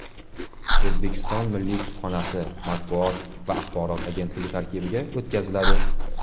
O‘zbekiston Milliy kutubxonasi Matbuot va axborot agentligi tarkibiga o‘tkaziladi.